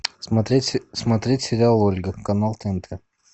смотреть сериал ольга канал тнт